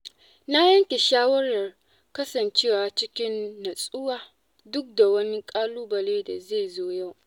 Na yanke shawarar kasancewa cikin nutsuwa duk da wani ƙalubale da zai zo yau.